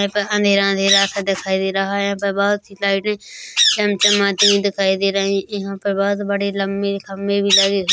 यहां पे अंधेरा अंधेरा सा दिखाई दे रहा है यहां पे बोहोत सी लाइटें चमचमाती हुई दिखाई दे रही है यहां पे बोहोत बड़े लंबे खम्बे भी लगे--